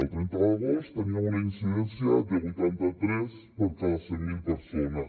el trenta d’agost teníem una incidència de vuitanta tres per cada cent mil persones